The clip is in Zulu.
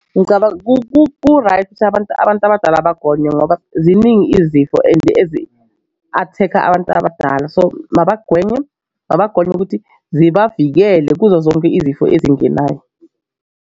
Ngicabanga ku-right ukuthi abantu abantu abadala bagonwe ngoba ziningi izifo and ezi-attack-a abantu abadala so mabagonywe mabagonywe ukuthi zibavikele kuzo zonke izifo ezingenayo.